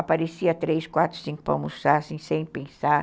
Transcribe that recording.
Aparecia três, quatro, cinco para almoçar sem pensar.